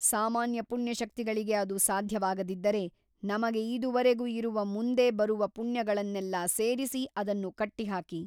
ಸಾಮಾನ್ಯ ಪುಣ್ಯಶಕ್ತಿಗಳಿಗೆ ಅದು ಸಾಧ್ಯವಾಗದಿದ್ದರೆ ನಮಗೆ ಇದುವರೆಗೂ ಇರುವ ಮುಂದೆ ಬರುವ ಪುಣ್ಯಗಳನ್ನೆಲ್ಲಾ ಸೇರಿಸಿ ಅದನ್ನು ಕಟ್ಟಿಹಾಕಿ.